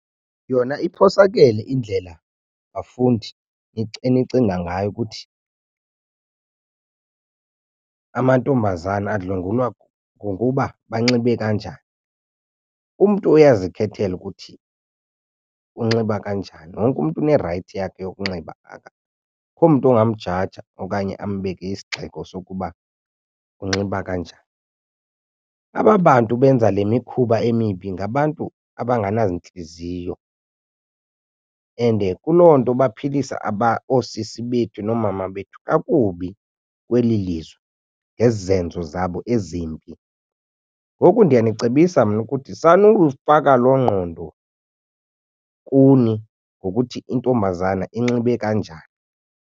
Yona iphosakele indlela bafundi enicinga ngayo ukuthi amantombazana adlwengulwa ngokuba banxibe kanjani, umntu uyazikhethela ukuthi unxiba kanjani wonke umntu unerayithi yakhe yokunxiba akho mntu ongamjaja okanye ambeke isigxeko sokuba unxiba kanjani. Aba bantu benza le mikhuba emibi ngabantu abanganazintliziyo. And kuloo nto baphilisa oosisi bethu noomama bethu kakubi kweli lizwe ngezi zenzo zabo ezimbi. Ngoku ndiyanicebisa mna ukuthi sanukuzifaka loo ngqondo kuni ngokuthi intombazana inxibe kanjani.